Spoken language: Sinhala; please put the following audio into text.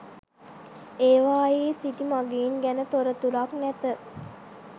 ඒවායේ සිටි මඟීන් ගැන තොරතුරක් නැත.